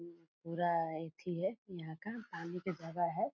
पूरा एथि है यहाँ का पानी के जगह है।